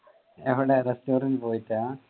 എവിട restaurant പോയിട്ടാ?